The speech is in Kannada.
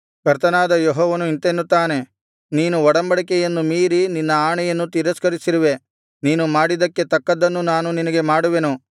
ಕರ್ತನಾದ ಯೆಹೋವನು ಇಂತೆನ್ನುತ್ತಾನೆ ನೀನು ಒಡಂಬಡಿಕೆಯನ್ನು ಮೀರಿ ನಿನ್ನ ಆಣೆಯನ್ನು ತಿರಸ್ಕರಿಸಿರುವೆ ನೀನು ಮಾಡಿದ್ದಕ್ಕೆ ತಕ್ಕದ್ದನ್ನು ನಾನು ನಿನಗೆ ಮಾಡುವೆನು